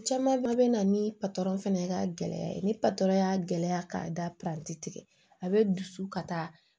Caman bɛɛ bɛ na ni patɔrɔn fana ka gɛlɛya ye ni patɔrɔn y'a gɛlɛya ka da planti a bɛ dusu ka taa